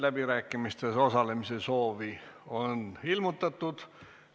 Läbirääkimistes osalemise soovi on ilmutatud.